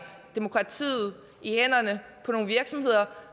demokratiet i hænderne på nogle virksomheder